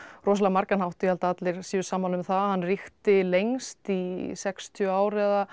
rosalega margan hátt ég held að allir séu sammála um það hann ríkti lengst í sextíu ár eða